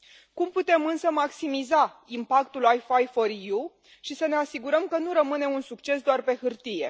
Cum putem, însă, maximiza impactul WIFI4EU și să ne asigurăm că nu rămâne un succes doar pe hârtie?